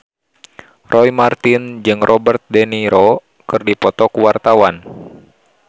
Roy Marten jeung Robert de Niro keur dipoto ku wartawan